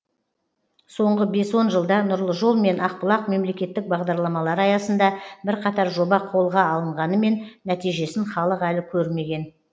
соңғы бес он жылда нұрлы жол мен ақбұлақ мемлекеттік бағдарламалары аясында бірқатар жоба қолға алынғанымен нәтижесін халық әлі көрмеген